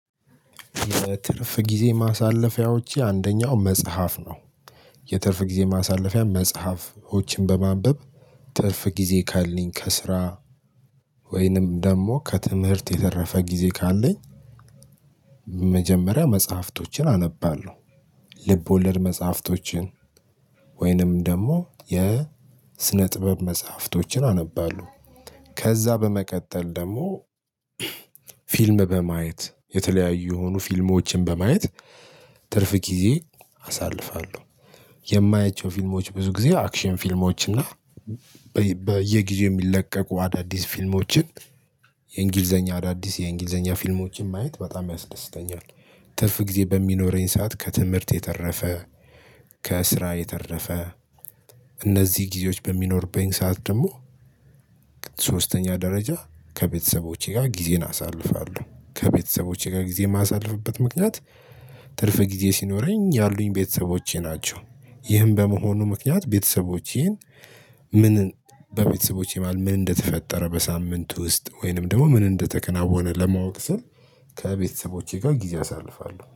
ትርፍ ጊዜ ማሳለፊያዎቼ አንደኛው መጽሐፍ ነው። የትርፍ ጊዜ ማሳለፊያ መጽሐፎችን በማንበብ ትርፍ ጊዜ ካለኝ ከስራ ወይንም ደግሞ ከትምህርት የተረፈ ጊዜ ካለኝ መጀመሪያ መጽሐፍቶችን አነባለሁ። ልብ ወለድ መጽሐፍቶችን ወይንም ደግሞ የስነ ጥበብ መጽሐፍቶችን አነባለሁ። ከዛ በመቀጠል ደግሞ ፊልም በማየት የተለያዩ የሆኑ ፊልሞችን በማየት ትርፍ ጊዜ አሳልፋለሁ። የማያቸው ፊልሞች ብዙ ጊዜ አክሽን ፊልሞች እና በየጊዜው የሚለቀቁ አዳዲስ ፊልሞችን የእንግሊዘኛ አዳዲስ የእንግሊዘኛ ፊልሞችን ማየት በጣም ያስደስተኛል። ትርፍ ጊዜ በሚኖረኝ ሰዓት ከትምህርት የተረፈ ከስራ የተረፈ እነዚህ ጊዜዎች በሚኖርብኝ ሰዓት ደግሞ ሶስተኛ ደረጃ ከቤተሰቦቼ ጋር ጊዜን አሳልፋለሁ። ከቤተሰቦቼ ጋር ጊዜ ማሳልፍበት ምክንያት ትርፍ ጊዜ ሲኖረኝ ያሉኝ ቤተሰቦቼ ናቸው። ይህም በመሆኑ ምክንያት ቤተሰቦቼን ምን በቤተሰቦቼ መሃል ምን እንደተፈጠረ በሳምንት ውስጥ ወይንም ደግሞ ምን እንደተከናወነ ለማወቅ ስል ከቤተሰቦቼ ጋር ጊዜ አሳልፋለሁ።